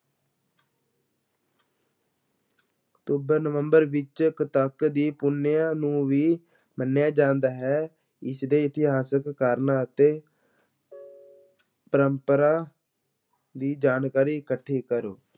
October ਨਵੰਬਰ ਵਿੱਚ ਕੱਤਕ ਦੀ ਪੁੰਨਿਆ ਨੂੰ ਵੀ ਮੰਨਿਆ ਜਾਂਦਾ ਹੈ ਇਸਦੇ ਇਤਿਹਾਸਕ ਕਾਰਨ ਅਤੇ ਪਰੰਪਰਾ ਦੀ ਜਾਣਕਾਰੀ ਇਕੱਠੀ ਕਰੋ।